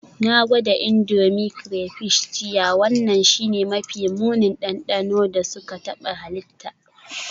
Na gwada Indomie crayfish jiya, wannan shine mafi munin dandano da suka taɓa halitta.